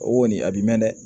O kɔni a b'i mɛn dɛ